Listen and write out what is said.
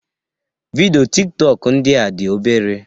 Vidịo Tik tọk ndịa dị obere